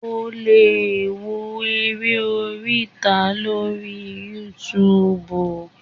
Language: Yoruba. o le wo eré oríta lori Youtube